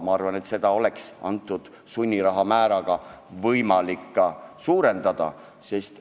Ma arvan, et asja oleks võimalik sunniraha määra tõstmisega parandada.